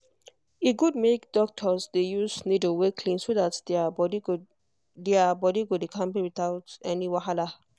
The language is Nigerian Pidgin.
e good make doctors dey use needle wey clean so that their body go their body go dey kampe without any wahala.